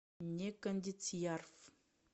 некондициярф